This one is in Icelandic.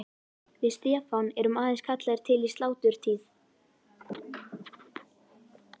Við Stefán erum aðeins kallaðir til í sláturtíð.